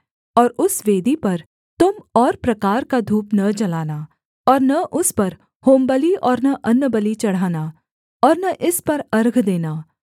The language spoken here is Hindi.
और उस वेदी पर तुम और प्रकार का धूप न जलाना और न उस पर होमबलि और न अन्नबलि चढ़ाना और न इस पर अर्घ देना